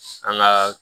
An ka